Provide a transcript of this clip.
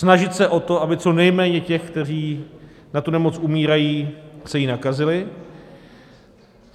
Snažit se o to, aby co nejméně těch, kteří na tu nemoc umírají, se jí nakazili.